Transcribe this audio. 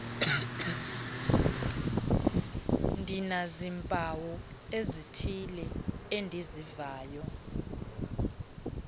ndinazimpawu zithile endizivayo